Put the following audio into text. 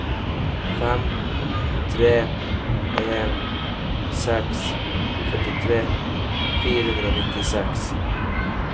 fem tre en seks førtitre fire hundre og nittiseks